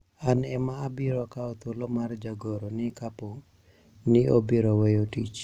an ema abiro kawo thuolo mar jagoro ni kapo ni obiro weyo tich